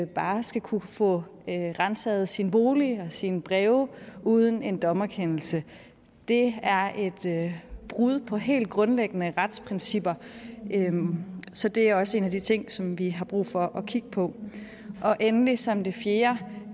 bare skal kunne få ransaget sin bolig og sine breve uden en dommerkendelse det er et brud på helt grundlæggende retsprincipper så det er også en af de ting som vi har brug for at kigge på og endelig som det fjerde